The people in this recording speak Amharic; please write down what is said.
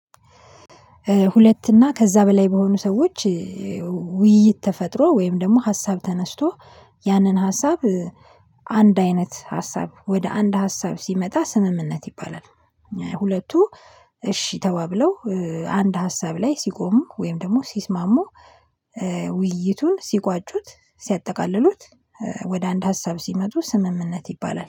ሁለት እና ከዛ በላይ በሆኑ ሰዎች ውይይት ተፈጥሮ ወይም ደግሞ ሀሳብ ተነስቶ ያንን ሀሳብ አንድ አይነት ሀሳብ ወደ አንድ ሀሳብ ሲመጣ ስምምነት ይባላል። ሁለቱ እሺ ተባብለው አንድ ሀሳብ ላይ ሲቆሙ ወይም ደግሞ ሲስማሙ። ውይይቱን ሲቋጩት ሲያጠቃልሉት ወደ አንድ ሀሳብ ሲመጡ ስምምነት ይባላል